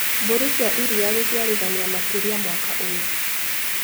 Mbũri cia iria gũciarithania makĩria mwaka ũyũ.